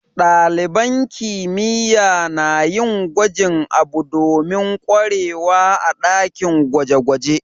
Dalibain kimiyya na yin gwajin abu domin kwarewa a'dakin gwaje-gwaje.